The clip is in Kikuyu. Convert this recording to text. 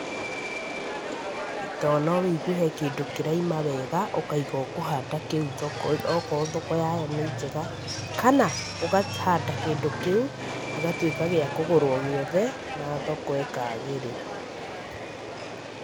Tondũ no wĩigue he kĩndũ kĩraima wega, ũkaiga kũhanda kĩu okorwo thoko yayo nĩ njega, kana ũkahanda kĩndũ kĩu gĩgatuĩka gĩa kũgũrwo gĩothe na thoko ĩkagĩrĩra.